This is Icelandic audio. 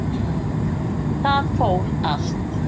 Það fór allt